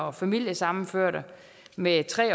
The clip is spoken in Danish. og familiesammenførte med tre